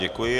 Děkuji.